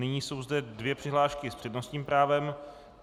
Nyní jsou zde dvě přihlášky s přednostním právem.